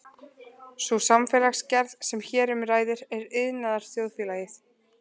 Sú samfélagsgerð sem hér um ræðir er iðnaðarþjóðfélagið.